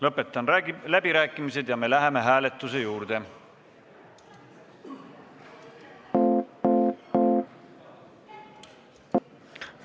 Lõpetan läbirääkimised ja me läheme hääletuse juurde.